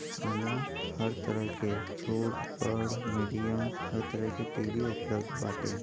इहाँ हर तरह के छोट बढ़ मीडियम हर तरह के टीवी उपलब्ध बाटे |